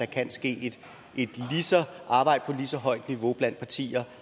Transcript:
kan ske et arbejde på et lige så højt niveau blandt partierne